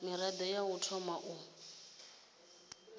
mirado ya u thoma u